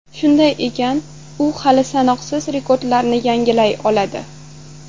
Shunday ekan, u hali sanoqsiz rekordlarni yangilay oladi.